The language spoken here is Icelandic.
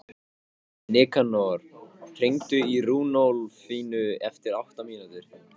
Nikanor, hringdu í Runólfínu eftir átta mínútur.